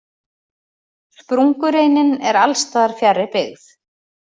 Sprungureinin er alls staðar fjarri byggð.